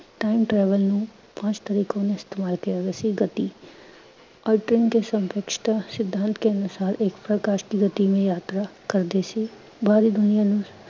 time travel ਨੂੰ ਵਾਸਤਵਿਕ ਇਸਤੇਮਾਲ ਕਰਦੇ ਸੀ ਗਤੀ, ਔਰ ਸਿਧਾਂਤ ਕੇ ਅਨੁਸਾਰ ਏਕ ਪ੍ਕਾਸ਼ ਕੀ ਗਤੀ ਮੇਂ ਯਾਤਰਾ ਕਰਦੇ ਸੀ। ਬਾਹਰੀ ਦੁਨੀਆ ਨੂੰ